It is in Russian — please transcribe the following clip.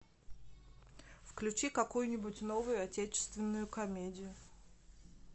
включи какую нибудь новую отечественную комедию